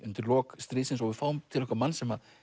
undir lok stríðsins og við fáum til okkar mann sem